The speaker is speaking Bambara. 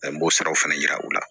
An b'o sara fana yira u la